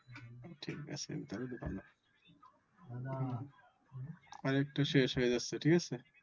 ঠিক আছে তাহলে তো ভালো ফাইলেরটা শেষ হয়ে যাচ্ছে ঠিক আছে